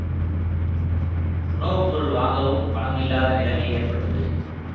உணவு பொருள் வாங்கவும் பணம் இல்லாத நிலமை ஏற்பட்டது